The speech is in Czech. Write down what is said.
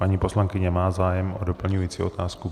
Paní poslankyně má zájem o doplňující otázku?